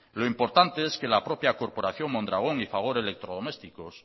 lo importante es que la propia corporación mondragón y fagor electrodomésticos